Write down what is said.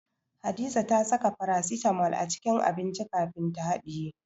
Hadiza ta saka farasitamol a cikin abinci kafin ta haɗiye.